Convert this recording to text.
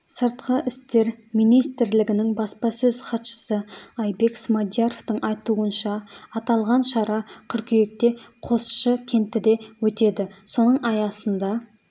сыртқы істер министрлігінің баспасөз хатшысы айбек смадияровтың айтуынша аталған шара қыркүйекте қосшы кентіде өтеді соның аясында